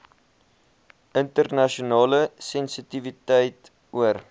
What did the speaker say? internasionale sensitiwiteit oor